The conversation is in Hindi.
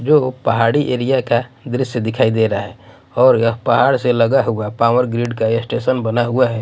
जो पहाड़ी एरिया का दृश्य दिखाई दे रहा है और यह पहाड़ से लगा हुआ पावर ग्रिड का ये स्टेशन बना हुआ है।